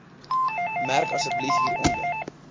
merk asseblief hieronder